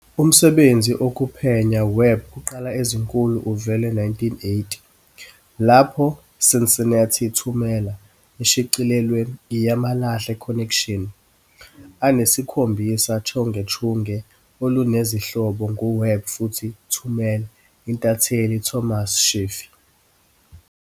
Umsebenzi okuphenya Webb kuqala ezinkulu uvele 1980, lapho "Cincinnati Thumela" eshicilelwe "I yamalahle Connection," anesikhombisa chungechunge olunezihloko nguWebb futhi "Thumela" intatheli Thomas Scheffey.